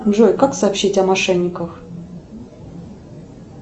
джой как сообщить о мошенниках